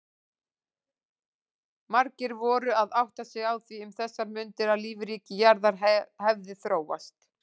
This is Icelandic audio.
Margir voru að átta sig á því um þessar mundir að lífríki jarðar hefði þróast.